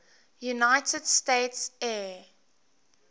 united states air